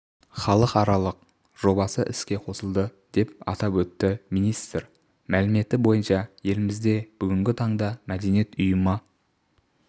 халықаралық жобасы іске қосылды деп атап өтті министр мәліметі бойынша елімізде бүгінгі таңда мәдениет ұйымы